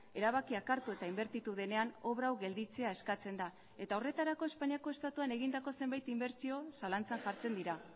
erabakiak hartu eta inbertitu denean obra hau gelditzea eskatzen da eta horretarako espainiako estatuan egindako zenbait inbertsio zalantzan jartzen dira